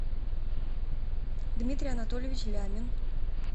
дмитрий анатольевич лямин